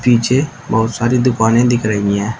पीछे बहुत सारी दुकानें दिख रही है।